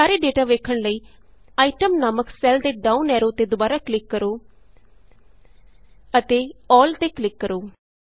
ਸਾਰੇ ਡੇਟਾ ਵੇਖਣ ਲਈ Itemਨਾਮਕ ਸੈੱਲ ਦੇ ਡਾਊਨ ਐਰੋ ਤੇ ਦੁਬਾਰਾ ਕਲਿਕ ਕਰੋ ਅਤੇ Allਤੇ ਕਲਿਕ ਕਰੋ